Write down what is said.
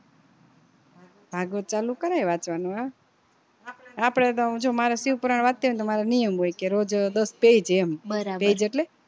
ભાગવત ચાલુ કરાય વાંચવાનું આપડે તો જો મારે શિવ પુરાણ વાંચતી હોય તો મારે નિયમ હોય કે રોજ દસ page એમ page એટલે